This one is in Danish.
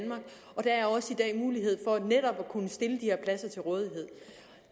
mulighed for netop at kunne stille de her pladser til rådighed